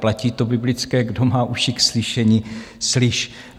Platí to biblické: Kdo má uši k slyšení, slyš.